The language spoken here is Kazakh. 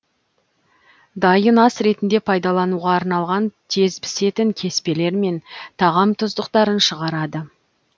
дайын ас ретінде пайдалануға арналған тез пісетін кеспелер мен тағам тұздықтарын шығарады